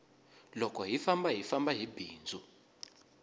loko hi famba hi famba hi bindzu